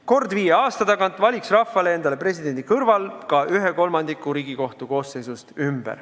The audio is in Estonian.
Kord viie aasta tagant valiks rahvas endale presidendi ja selle kõrval valiks ta ümber ka ühe kolmandiku Riigikohtu koosseisust.